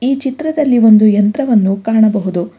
ಈ ಚಿತ್ರದಲ್ಲಿ ಒಂದು ಯಂತ್ರವನ್ನು ಕಾಣಬಹುದು.